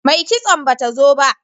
Mai kitson ba ta zo ba